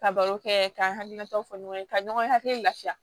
Ka baro kɛ k'an hakilinataw fɔ ɲɔgɔn ye ka ɲɔgɔn hakili lafiya